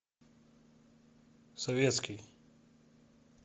советский